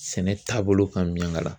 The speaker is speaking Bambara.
Sɛnɛ taabolo ka Miɲankala.